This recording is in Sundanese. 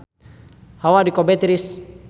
Hawa di Kobe tiris